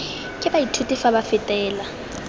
ke baithuti fa ba fetela